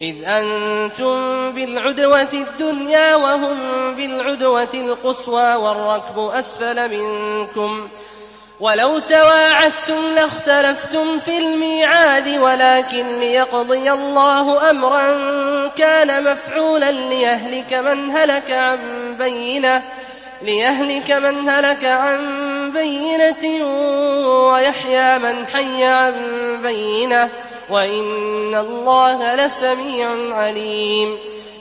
إِذْ أَنتُم بِالْعُدْوَةِ الدُّنْيَا وَهُم بِالْعُدْوَةِ الْقُصْوَىٰ وَالرَّكْبُ أَسْفَلَ مِنكُمْ ۚ وَلَوْ تَوَاعَدتُّمْ لَاخْتَلَفْتُمْ فِي الْمِيعَادِ ۙ وَلَٰكِن لِّيَقْضِيَ اللَّهُ أَمْرًا كَانَ مَفْعُولًا لِّيَهْلِكَ مَنْ هَلَكَ عَن بَيِّنَةٍ وَيَحْيَىٰ مَنْ حَيَّ عَن بَيِّنَةٍ ۗ وَإِنَّ اللَّهَ لَسَمِيعٌ عَلِيمٌ